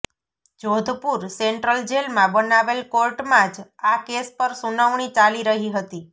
Jodhpur central જેલમાં બનાવેલ કોર્ટમાં જ આ કેસ પર સુનવણી ચાલી રહી હતી